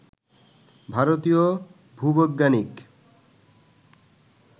ভারতীয় ভূবৈজ্ঞানিক